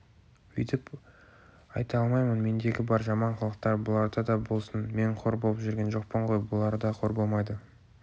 өйтіп айта алмаймын мендегі бар жаман қылықтар бұларда да болсын мен қор боп жүрген жоқпын ғой бұлар да қор болмайды